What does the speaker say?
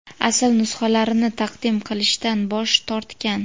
asl nusxalarini taqdim qilishdan bosh tortgan.